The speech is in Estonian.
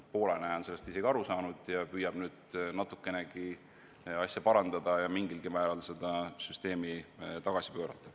Poola on sellest aru saanud ja püüab nüüd natukenegi asja parandada, mingilgi määral seda süsteemi tagasi pöörata.